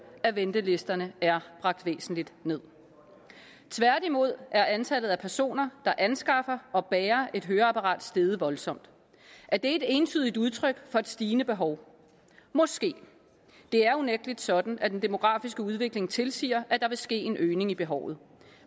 at ventelisterne er bragt væsentligt nederst tværtimod er antallet af personer der anskaffer og bærer et høreapparat steget voldsomt er det et entydigt udtryk for et stigende behov måske det er unægtelig sådan at den demografiske udvikling tilsiger at der vil ske en øgning af behovet